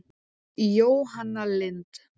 Jóhanna Lind.